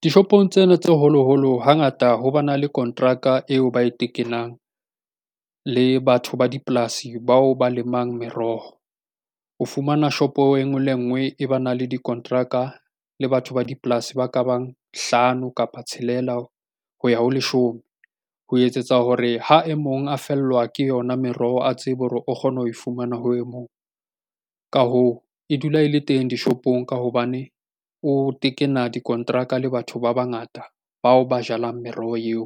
Dishopong tsena tse holoholo hangata ho ba na le kontraka eo ba e tekelang le batho ba dipolasi bao ba lemang meroho o fumana shop o e ngwe le ngwe e ba na le dikonteraka le batho ba dipolasi ba ka bang hlano kapa tshelela ho ya ho leshome ho etsetsa hore ha e mong a fellwa ke yona meroho a tsebe hore o kgone ho fumana ho e mong ka hoo e dula e le teng dishopong ka hobane e o tekena dikonteraka le batho ba bangata bao ba jalang meroho eo